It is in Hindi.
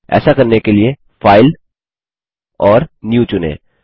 ऐसा करने के लिए फाइल और न्यू चुनें